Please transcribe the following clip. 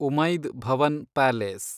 Umaid Bhawan palace